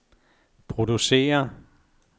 producere